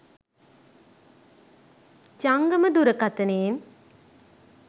ජංගම දුරකතනයෙන්